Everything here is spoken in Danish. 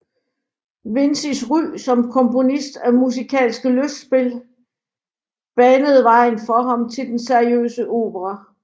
Vincis ry som komponist af musikalske lystspil banede vejen for ham til den seriøse opera